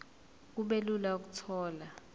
kube lula ukuthola